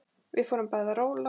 Við fórum bæði að róla.